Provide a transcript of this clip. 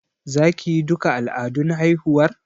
Za ki yi duka al'adun haihuwar?